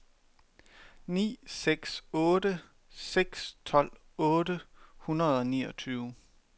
ni seks otte seks tolv otte hundrede og niogtyve